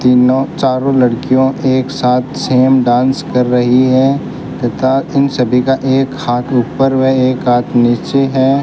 तीनों चारों लड़कियों एक साथ सेम डांस कर रही हैं तथा इन सभी का एक हाथ ऊपर व एक हाथ नीचे है।